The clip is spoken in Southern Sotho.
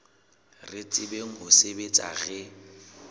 re tsebang ho sebetsa re